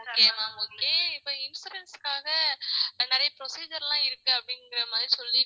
okay ma'am okay இப்ப insurance க்காக நிறைய procedure லாம் இருக்கு அப்படிங்கிற மாதிரி